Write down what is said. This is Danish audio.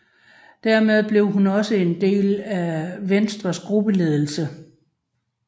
Dermed blev hun også en del af Venstres gruppeledelse